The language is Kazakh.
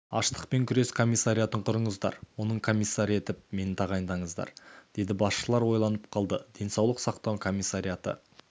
аштықпен күрес комиссариатын құрыңыздар оның комиссары етіп мені тағайындаңыздар деді басшылар ойланып қалды денсаулық сақтау комиссариаты